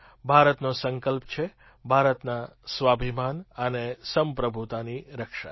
ભારતનો સંકલ્પ છે ભારતના સ્વાભિમાન અને સંપ્રભુતાની રક્ષા